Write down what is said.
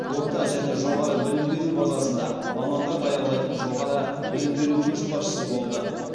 орта және жоғары білім беру базасында мамандар даярлайтын жоғары білім беру көшбасшысы болды